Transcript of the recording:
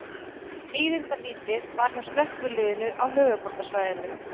Tíðindalítið var hjá slökkviliðinu á höfuðborgarsvæðinu